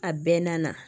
A bɛɛ na